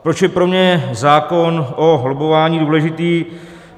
Proč je pro mě zákon o lobbování důležitý.